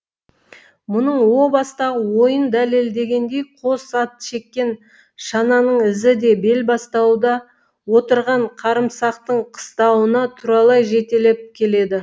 мұның о бастағы ойын дәлелдегендей қос ат шеккен шананың ізі де белбастауда отырған қарымсақтың қыстауына туралай жетелеп келеді